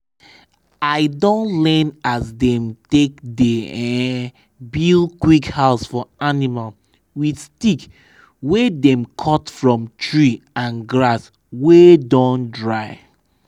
i don learn as dem take dey um build quick house for animal with stick wey dem cut from tree and grass wey don dry. um